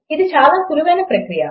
అది చాలా సుళువైన ప్రక్రియ